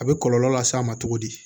A bɛ kɔlɔlɔ las'a ma cogo di